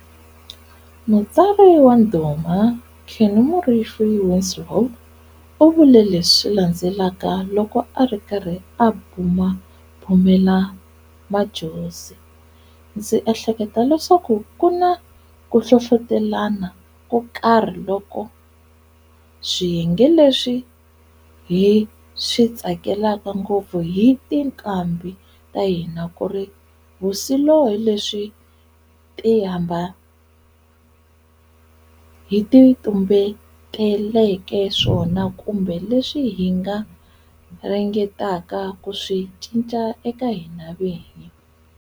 Mutsari wa ndhuma Kenny Morifi-Winslow u vule leswi landzelaka loko ari karhi a bhumabhumela Madjozi,"Ndzi ehleketa leswaku kuna kuhlohlotelana kokarhi loko, swiyenge leswi hi switsakelaka ngopfu hi tinqambhi ta hina kuri wsilo leswi hi ti tumbeteleke swona kumbe leswi hi ringeteke ku swi cinca eka hina vinyi".